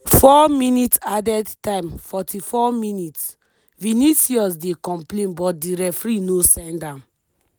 4mins added time 44mins- vinicius dey complain but di referee no send am.